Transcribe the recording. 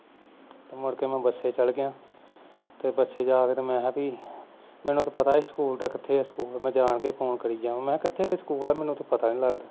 ਤੇ ਮੁੜ ਕੇ ਮੈਂ ਬਸੇ ਚਲਾ ਗਿਆ ਤੇ ਬਸੇ ਜਾ ਕੇ ਮੈਂਹ ਪੀ ਮੈਨੂੰ ਤਾਂ ਪਤਾ ਹੀ ਸੀ ਕਿਥੇ ਆ school ਮੈਂ ਜਾਣ ਕੇ ਹੀ phone ਕਰੀ ਜਾਵਾਂ ਮੈਂ ਕਿਹਾ ਕਿਥੇ ਕ school ਹੈ ਮੈਨੂੰ ਤੇ ਪਤਾ ਨਹੀਂ ਲਗਦਾ